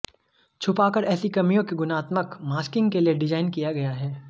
छुपाकर ऐसी कमियों के गुणात्मक मास्किंग के लिए डिज़ाइन किया गया है